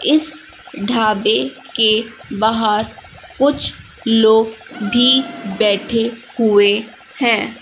इस ढाबे के बाहर कुछ लोग भी बैठे हुए हैं।